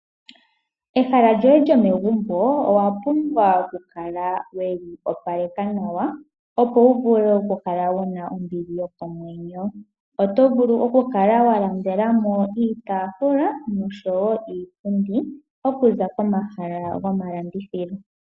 Ehala lyoye lyomegumbo owa pumbwa okukala weli opaleka nawa, opo wu vule oku kala wuna ombili yokomwenyo. Oto vulu okulandela mo iitaafula oshowo iipundi okuza komahala gomalandithilo.